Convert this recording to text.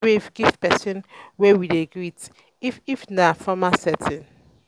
we fit wave give di person wey we dey greet if if na formal setting